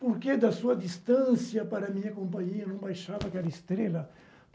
Por que, da sua distância para minha companhia, não baixava aquela estrela?